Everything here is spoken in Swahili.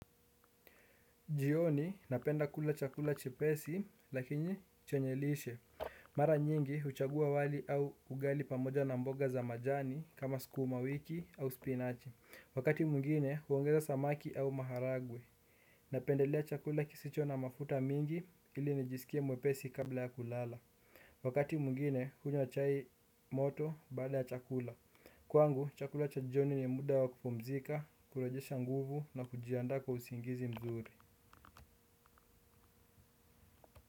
Jioni napenda kula chakula chepesi lakini chenyemlishe. Mara nyingi huchagua wali au ugali pamoja na mboga za majani kama sukuma wiki au spinachi. Wakati mwingine huongeza samaki au maharagwe. Napendelea chakula kisicho na mafuta mingi ili nijisikie mwepesi kabla ya kulala. Wakati mwingine hunywa chai moto baada ya chakula. Kwangu chakula cha jioni ni muda wa kupumzika, kurejesha nguvu na kujiandaa kwa usingizi mzuri.